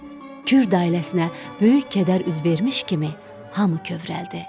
Kürd ailəsinə böyük kədər üz vermiş kimi hamı kövrəldi.